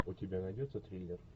у тебя найдется триллер